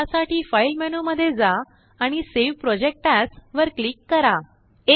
यासाठी file menu मध्ये जा आणिsave प्रोजेक्ट एएस वर क्लिक करा